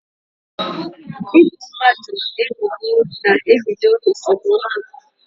Ị bo mmadụ ebubo na-ebido esemokwu